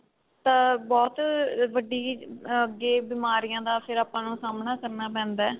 ਤਾਂ ਬਹੁਤ ਵੱਡੀ ਅੱਗੇ ਬੀਮਾਰੀਆਂ ਦਾ ਫੇਰ ਆਪਾਂ ਨੂੰ ਸਾਮਣਾ ਕਰਨਾ ਪੈਂਦਾ